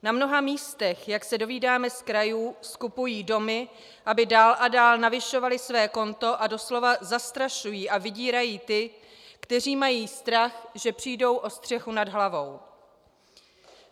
Na mnoha místech, jak se dovídáme z krajů, skupují domy, aby dál a dál navyšovali své konto, a doslova zastrašují a vydírají ty, kteří mají strach, že přijdou o střechu nad hlavou.